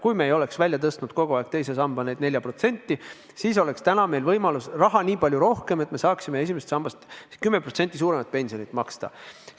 Kui me ei oleks kogu aeg teise sambasse seda 4% tõstnud, siis oleks meil raha nii palju rohkem, et me saaksime esimesest sambast 10% suuremat pensionit maksta.